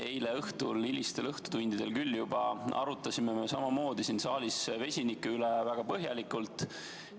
Eile õhtul, küll juba hilistel õhtutundidel, arutasime siin saalis vesiniku üle väga põhjalikult.